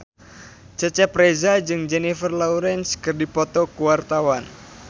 Cecep Reza jeung Jennifer Lawrence keur dipoto ku wartawan